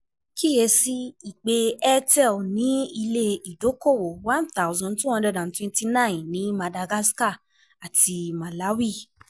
Kíyè sí i pé Airtel ní ilé-ìdókòwò one thousand two hundred twenty nine ní Madagascar àti Malawi.